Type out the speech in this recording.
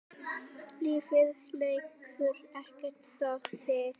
Lífið lætur ekkert stoppa sig.